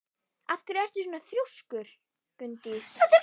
Af hverju ertu svona þrjóskur, Gunndís?